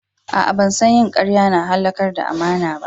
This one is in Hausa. A'a, ban san yin kariya na iya halakar da amana ba.